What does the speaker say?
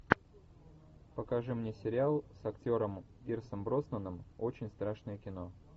покажи мне сериал с актером пирсом броснаном очень страшное кино